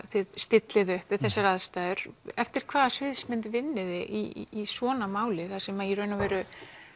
þið stillið upp við þessar aðstæður eftir hvaða sviðsmynd vinnið þið í svona máli þar sem að í raun og veru